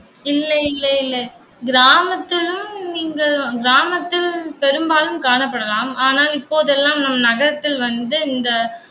இல்லை இல்லை இல்லை கிராமத்துலயும் நீங்க கிராமத்தில் பெரும்பாலும் காணப்படலாம். ஆனால், இப்போதெல்லாம் நம் நகரத்தில் வந்து இந்த